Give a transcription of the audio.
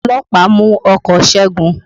Ọlọ́pàá mú ọkọ̀ Ṣégun